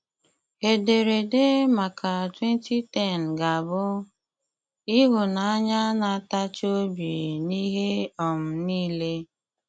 Éderede maka 2010 ga-abụ: ‘Ị̀hụ̀nànyà na-átàchí obi n’ihe um niile.’